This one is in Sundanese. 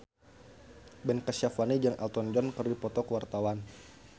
Ben Kasyafani jeung Elton John keur dipoto ku wartawan